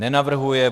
Nenavrhuje.